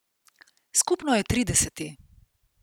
Skupno je trideseti.